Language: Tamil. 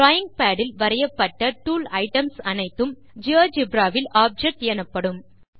டிராவிங் பாட் இல் வரையப்பட்ட டூல் ஐட்டம்ஸ் அனைத்தும் ஜியோஜெப்ரா வில் ஆப்ஜெக்ட் எனப்படும்